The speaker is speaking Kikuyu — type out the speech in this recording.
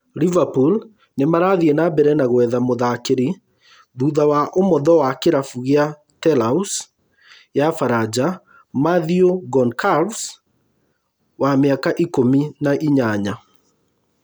Liverpool nĩmarathiĩ na mbere na gwetha mũthakĩri thutha wa ũmotho wa kĩrabu gĩa Toulouse ya baranja Mathieu Goncalves, wa miaka ikùmi na inyanya.